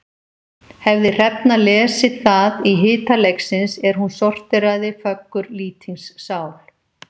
Hefði Hrefna lesið það í hita leiksins er hún sorteraði föggur Lýtings sál.